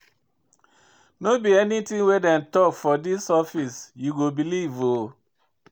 No be anytin wey dem tok for dis office you go believe o.